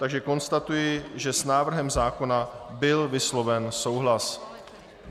Takže konstatuji, že s návrhem zákona byl vysloven souhlas.